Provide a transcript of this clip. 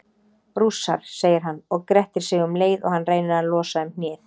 Rússar, segir hann og grettir sig um leið og hann reynir að losa um hnéð.